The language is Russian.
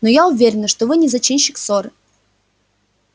но я уверена что не вы зачинщик ссоры